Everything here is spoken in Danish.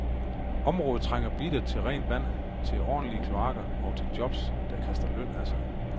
Området trænger bittert til rent vand, til ordentlige kloakker og til jobs, der kaster løn af sig.